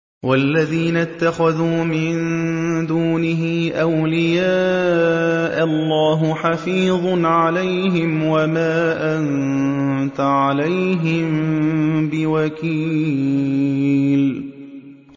وَالَّذِينَ اتَّخَذُوا مِن دُونِهِ أَوْلِيَاءَ اللَّهُ حَفِيظٌ عَلَيْهِمْ وَمَا أَنتَ عَلَيْهِم بِوَكِيلٍ